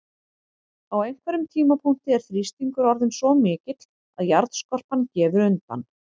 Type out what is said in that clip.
Á einhverjum tímapunkti er þrýstingur orðinn svo mikill að jarðskorpan gefur undan.